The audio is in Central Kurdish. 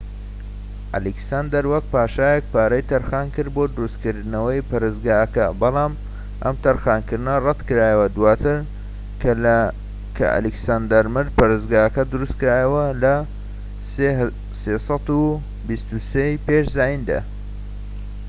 ئەلێکساندەر، وەکو پاشایەك پارەی تەرخانکرد بۆ دروستکردنەوەی پەرستگاکە، بەڵام ئەم تەرخانکردنە ڕەت کرایەوە. دواتر کە ئەلیکساندەر مرد، پەرستگاکە دروستکرایەوە لە ٣٢٣ ی پێش زایندا